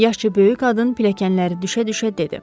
Yaşca böyük qadın pilləkənləri düşə-düşə dedi.